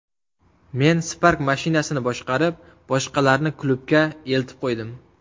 Men Spark mashinasini boshqarib, boshqalarni klubga eltib qo‘ydim.